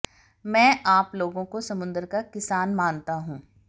मैं आप लोगों को समुद्र का किसान मानता हूं